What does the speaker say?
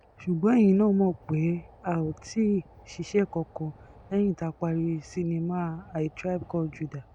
ṣùgbọ́n ẹ̀yìn náà mọ̀ pé a ò tí ì ṣiṣẹ́ kankan lẹ́yìn tá a parí sinimá a tribe called judah